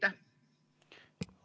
Aitäh!